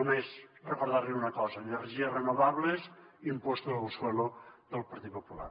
només recordar li una cosa energies renovables impuesto del suelo del partit popular